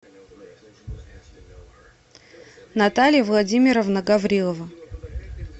наталья владимировна гаврилова